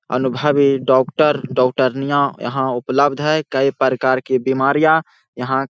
अनुभवी डॉक्टर डॉक्टरनिया यहाँ उपलब्ध हेय कई प्रकार की बीमारियाँ यहाँ --